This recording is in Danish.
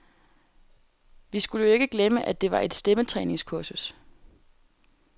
Vi skulle jo ikke glemme, at det var et stemmetræningskursus.